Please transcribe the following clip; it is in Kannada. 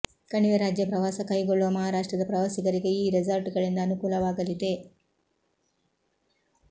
ಕಣಿವೆ ರಾಜ್ಯ ಪ್ರವಾಸ ಕೈಗೊಳ್ಳುವ ಮಹಾರಾಷ್ಟ್ರದ ಪ್ರವಾಸಿಗರಿಗೆ ಈ ರೆಸಾರ್ಟ್ ಗಳಿಂದ ಅನುಕೂಲವಾಗಲಿದೆ